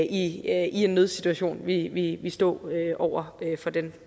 i en nødsituation ville ville stå over for den